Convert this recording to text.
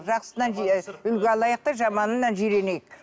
жақсысынан үлгі алайық та жаманынан жиренейік